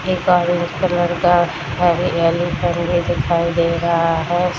एक orange colour का हरे दिखाई दे रहा है।